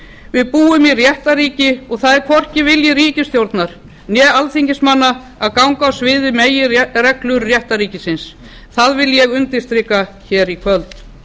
við búum í réttarríki og það er hvorki vilji ríkisstjórnar né alþingismanna að ganga á svig við meginreglur réttarríkisins það vil ég undirstrika hér í kvöld